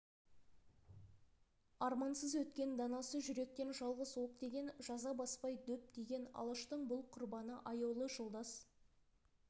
армансыз өткен данасы жүректен жалғыз оқ тиген жаза баспай дөп тиген алаштың бұл құрбаны аяулы жолдас